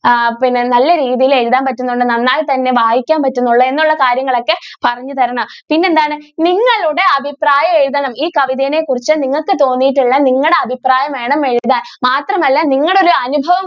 ആ പിന്നെ നല്ല രീതിയിൽ എഴുതാൻ പറ്റുന്നുണ്ട് നന്നായി തന്നെ വായിക്കാൻ പറ്റുന്നുണ്ട് എന്നുള്ള കാര്യങ്ങൾ ഒക്കെ പറഞ്ഞു തരണം പിന്നെ എന്താണ് നിങ്ങളുടെ അഭിപ്രായം എഴുതണം ഈ കവിതയെ കുറിച്ച് നിങ്ങൾക്ക് തോന്നിയിട്ടുള്ള നിങ്ങളുടെ അഭിപ്രായം വേണം എഴുതാൻ മാത്രം അല്ല നിങ്ങളുടെ ഒരു അനുഭവം